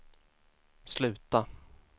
sluta